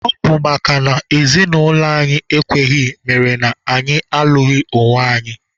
Ọ bụ makana ezinaụlọ anyị ekweghị mere na anyị alụghị onwe anyị.